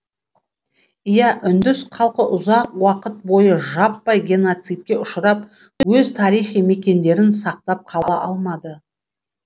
иә үндіс халқы ұзақ уақыт бойы жаппай геноцидке ұшырап өз тарихи мекендерін сақтап қала алмады